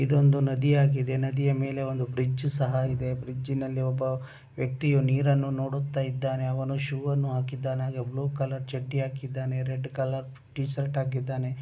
ಇದು ಒಂದು ನದಿಯಾಗಿದೆ ನದಿಯ ಮೇಲೆ ಒಂದು ಬ್ರಿಡ್ಜ್ ಸಹ ಇದೆ. ಬ್ರಿಡ್ಜ್ ನಲ್ಲಿ ಒಬ್ಬ ವ್ಯಕ್ತಿಯು ನೀರನ್ನು ನೋಡುತ್ತ ಇದ್ದಾನೆ. ಅವನು ಶೂ ಅನ್ನು ಹಾಕಿದ್ದಾನೆ ಹಾಗೆ ಬ್ಲೂ ಕಲರ್ ಚಡ್ಡಿಯನ್ನು ಹಾಕಿದ್ದಾನೆ ರೆಡ್ ಕಲರ್ ಟಿ ಶರ್ಟ್ ಹಾಕಿದ್ದಾನೆ.